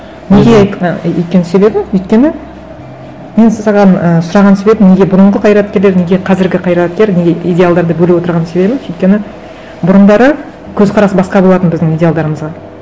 неге ы өйткен себебім өйткені мен саған ы сұраған себебім неге бұрынғы қайраткерлер неге қазіргі қайраткер неге идеалдарды бөліп отырған себебім өйткені бұрындары көзқарас басқа болатын біздің идеалдарымыға